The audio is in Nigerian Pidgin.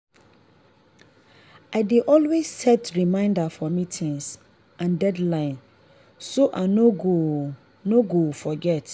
i dey always set reminder for meetings and deadlines so i no go no go forget.